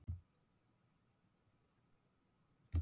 Þau borðuðu auðvitað alla afmælistertuna mína og þömbuðu allt gosið.